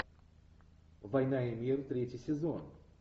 война и мир третий сезон